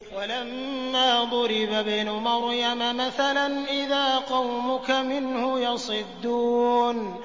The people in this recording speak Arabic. ۞ وَلَمَّا ضُرِبَ ابْنُ مَرْيَمَ مَثَلًا إِذَا قَوْمُكَ مِنْهُ يَصِدُّونَ